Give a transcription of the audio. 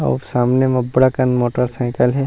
और सामने में ब्लैक एंड मोटरसाइकिल है।